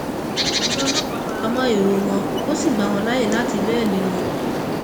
ọgá ọlọpàá fara mọ èrò wọn ó sì gbà wọn láàyè láti bẹẹlí wọn